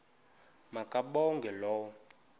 ma kabongwe low